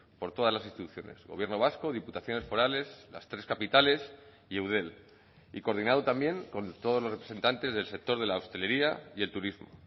por todas las instituciones gobierno vasco diputaciones forales las tres capitales y eudel y coordinado también con todos los representantes del sector de la hostelería y el turismo